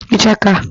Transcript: ichaka